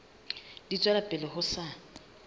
di tswela pele ho sa